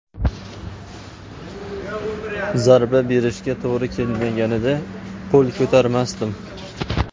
Zarba berishga to‘g‘ri kelmaganida, qo‘l ko‘tarmasdim.